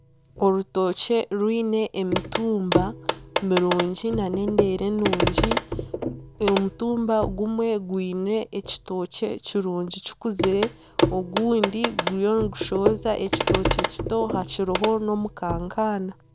Orutookye rwine emituumba mirungi nana endeere nungi omutumba gumwe gwine ekitookye kirungi kikuzire ogundi guriyo nigushohoza ekitookye kito hariho nomukankaana.